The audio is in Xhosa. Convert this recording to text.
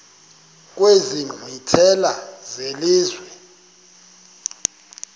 kwezi nkqwithela zelizwe